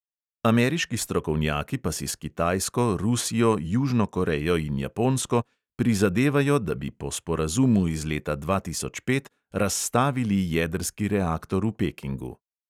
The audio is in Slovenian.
Ameriški strokovnjaki pa si s kitajsko, rusijo, južno korejo in japonsko prizadevajo, da bi po sporazumu iz leta dva tisoč pet razstavili jedrski reaktor v pekingu.